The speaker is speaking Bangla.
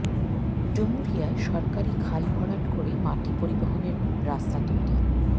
ডুমুরিয়ায় সরকারি খাল ভরাট করে মাটি পরিবহনের রাস্তা তৈরি